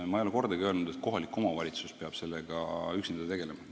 Aga ma ei ole kordagi öelnud, et kohalik omavalitsus peab sellega üksinda tegelema.